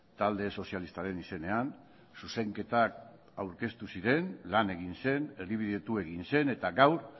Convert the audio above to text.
talde sozialistaren izenean zuzenketak aurkeztu ziren lan egin zen erdibidetu egin zen eta gaur